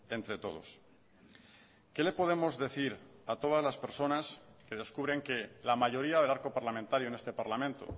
entre todos qué le podemos decir a todas las personas que descubren que la mayoría del arco parlamentario en este parlamento